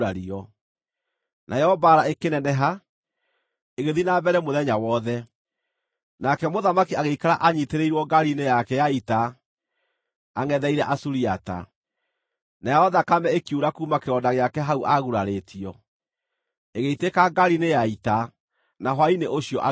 Nayo mbaara ĩkĩneneha, ĩgĩthiĩ na mbere mũthenya wothe, nake mũthamaki agĩikara anyiitĩrĩirwo ngaari-inĩ yake ya ita angʼetheire Asuriata. Nayo thakame ĩkiura kuuma kĩronda gĩake hau aagurarĩtio, ĩgĩitĩka ngaari-inĩ ya ita, na hwaĩ-inĩ ũcio agĩkua.